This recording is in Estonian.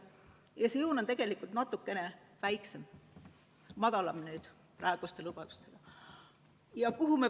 Ja see joon on tegelikult natukene madalam oma praeguste lubadustega.